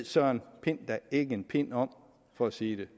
søren pind da ikke en pind om for at sige det